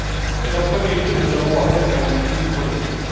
Mais en premier lieu, nous avons affaire à une crise politique.